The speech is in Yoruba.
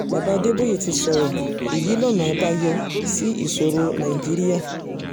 baba adébóyè ti sọ̀rọ̀ èyí lọ́nà àbáyọ sí ìṣòro nàìjíríà